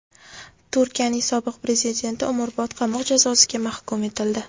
Turkiyaning sobiq prezidenti umrbod qamoq jazosiga mahkum etildi.